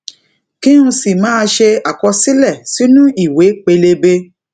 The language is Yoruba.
kí n sì máà ṣe àkọsílẹ sínú ìwé pélébé